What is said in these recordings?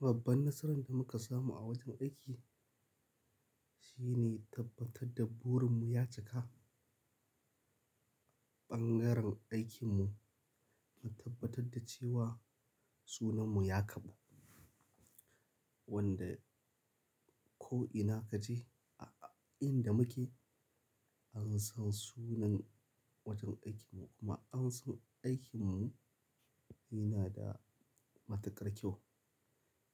Babban nasaran da muka samu a wajen aiki shine tabbatar da burinmu ya cika. Ɓangaren aikinmu na tabbatar da cewa sunanmu ya ƙaru. Wanda ko ina kaje a inda muke an san sunan wajen aikinmu kuma an san aikinmu yana da matuƙar kyau.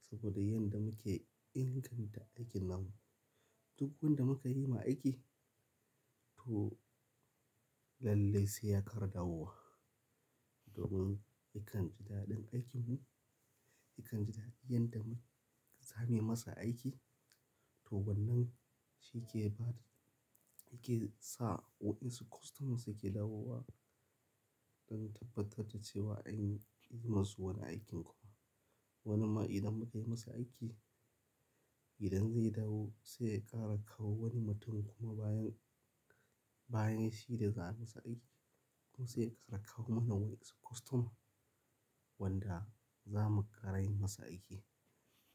Saboda yanda muke inganta aikin na mu duk wanda muka yi ma aiki to lalle sai ya kara dawowa. Domin ikan ji daɗin aikinmu ikan ji daɗin yanda muka sani masa aiki to wannan shi ke bada yake sa wa'insu kostomas suke lawowa don tabbatar da cewa an yi masu wani aikin kuma. Wani ma idan muka yi masa aiki idan zai dawo sai ya ƙara kawo wani mutum kuma bayan, bayan shi da za a yi masa aiki to sai ya ƙara kawo mana wa'insu kostoma wanda za mu ƙara yi masu aiki.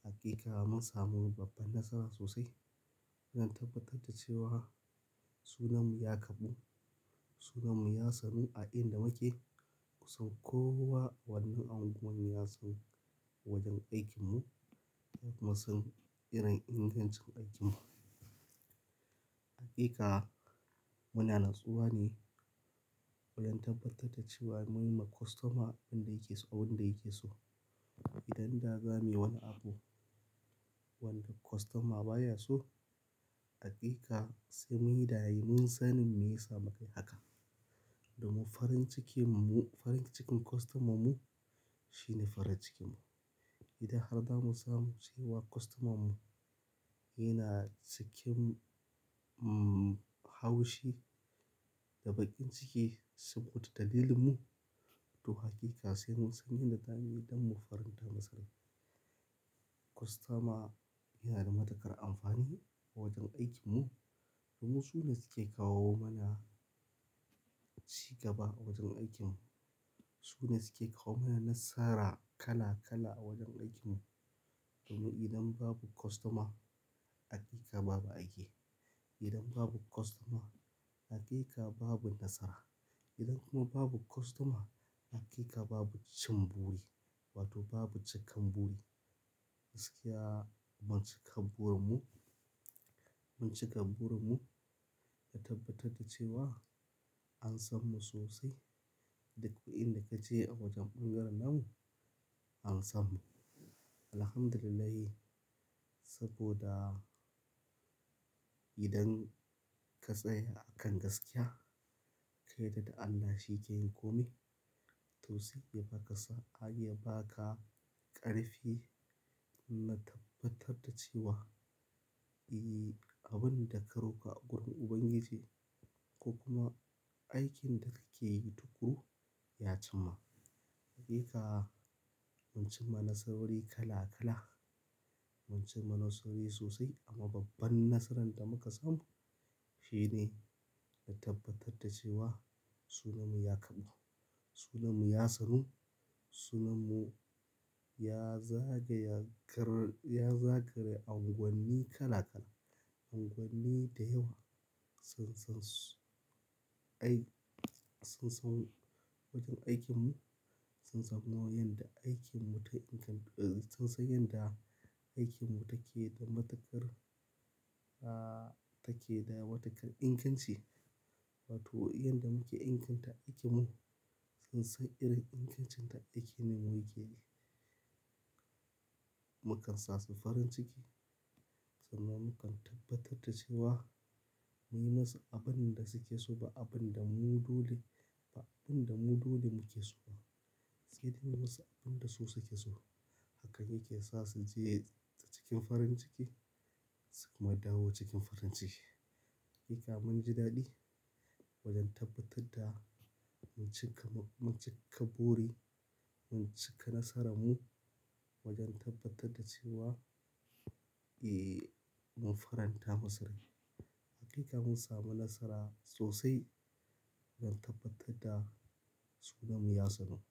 Hakika mun samu babban nasara sosai don tabbatar da cewa sunanmu ya ƙaru sunanmu ya sanu a inda muke. Kusa ko wa wannan ungwan ya san wajen aikinmu kuma sun san irin ingancin aikinmu. Hakika muna natsuwa ne don tabbatar da cewa mun yi ma kostoma abin da yake so abin da yake so. Idan da za mu yi wani abu wanda kostoma baya so hakika sai muyi da amun sanin me ya sa mu kayi haka. Domin farin cikin mu farin cikin kostoman mu shine farin cikinmu. Idan har zamu samu cewa kostomam mu yana cikin, umm, haushi da baƙin ciki saboda dalilin mu. To hakika sai mun san yanda zamuyi don mu faranta masalan. Kostoma yana da matuƙar amfani a wajen aikinmu. Domin su ne suke kawo mana ci gaba a wajen aikinmu. Su ne suke kawo mana nasara kala kala a wajen aikinmu. Domin idan babu kostoma hakika babu aiki. Idan babu kostoma hakika babu nasara. Idan kuma babu kostoma hakika babu cin buri wato babu cikan buri. Gaskiya mun cika burinmu, mun cika burinmu da tabbatar da cewa an sanmu sosai. Duk inda kaje a wajen ɓangaren namu an sanmu. Alhamdulillah saboda idan ka tsaya akan gaskiya ka yadda da Allah shi ke yin komai to sai ya baka sa, a, ya baka ƙarfi na tabbatar da cewa, e, abin da ka roƙa a wurin Ubangiji ko kuma aikin da kake yi tukuru ya cimma. Hakika mun cim ma nasarori kala kala. Mun cim ma nasarori sosai amma babban nasaran da muka samu shine na tabbatar da cewa sunanmu ya ƙaru. Sunanmu ya sanu. Sunanmu ya zaga ya gar, ya zagaya unguwanni kala kala. Unguwanni da yawa sun san su, ai sun san wajen aikinmu. Sun san yadda aikinmu ta ingantu, eh sun san yadda aikinmu take da matuƙar, ah, take da matu ƙar inganci. Wato yanda muke inganta aikinmu sun san irin ingancin ta aikin ne muke yi. Mukan sa su farin ciki sannan mukan tabbatar da cewa mun yi musu abin da suke so ba abin da mu dole ba abin da mu dole muke so ba. Sai dai mun yi musu abin da su suke so. Hakan yake sa su je cikin farin ciki su kuma dawo cikin farin ciki. Hakika mun ji daɗi wajen tabbatar da mun cika, mun cika buri mun cika nasaran mu wajen tabbatar da cewa, e, mun faranta masu rai. Hakika mun samu nasara sosai don tabbatar da sunanmu ya sanu.